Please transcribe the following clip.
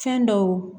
Fɛn dɔw